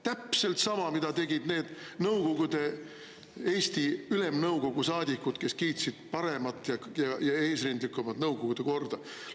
Täpselt sama, mida tegid need Nõukogude Eesti Ülemnõukogu saadikud, kes kiitsid paremat ja eesrindlikumat nõukogude korda.